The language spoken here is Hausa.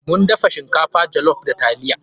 Mun dafa shinkafa jollof da taliya.